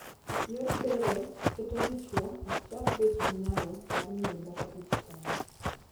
Yor bero keto dichwo ok chak bet gi nyalo mar miyo dhako ich tena.